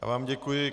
Já vám děkuji.